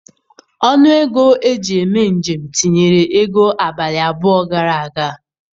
Ọnụ ego eji eme njem tinyere ego abalị abụọ gara aga.